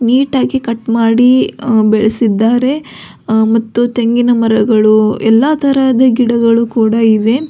Neat ಆಗಿ cut ಮಾಡಿ ಅಹ್ ಬೆಳೆಸಿದ್ದಾರೆ ಅಹ್ ಮತ್ತು ತೆಂಗಿನ ಮರಗಳು ಎಲ್ಲಾ ತರದ ಗಿಡಗಳು ಕೂಡ ಇವೆ.